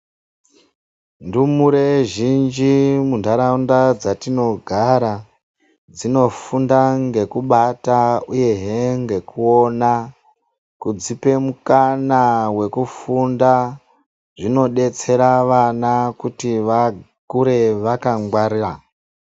Ndumure zhinji muntaraunda dzatinogara dzinofunda ngekubata uyehe ngekuona kudzipe mukana wekufunda zvinodetsera vana kuti vakure vakangwara